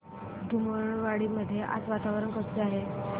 धुमाळवाडी मध्ये आज वातावरण कसे आहे